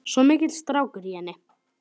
Svo mikill strákur í henni.